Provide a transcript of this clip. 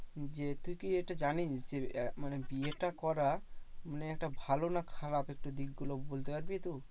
যে তুই কি এটা জানিস? যে আহ মানে বিয়েটা করা মানে এটা ভালো না খারাপ একটু দিকগুলো বলতে পারবি তু?